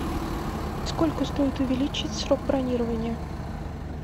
сколько стоит увеличить срок бронирования